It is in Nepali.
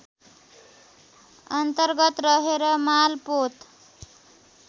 अन्तर्गत रहेर मालपोत